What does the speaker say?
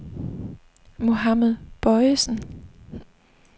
Mohammed Bojesen